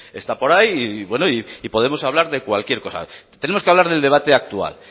está por ahí y podemos hablar de cualquier cosa tenemos que hablar del debate actual